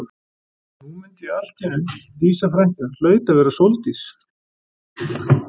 Og nú mundi ég allt í einu Dísa frænka hlaut að vera Sóldís.